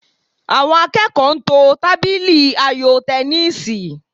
Àwọn akẹ́kọ̀ọ́ ń to tábìlì ayò tẹníìsì